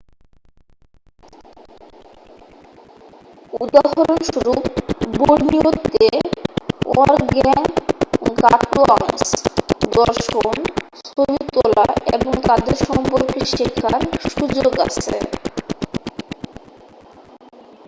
উদাহরণ স্বরূপ বোর্নিওতে অরগ্যাংগাটুয়াংস দর্শন ছবি তোলা এবং তাদের সম্পর্কে শেখার সুযোগ আছে